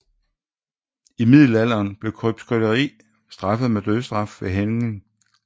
I middelalderen blev krybskytteri straffet med dødsstraf ved hængning